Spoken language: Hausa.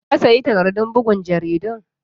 ka sayi takardun bugun takardun?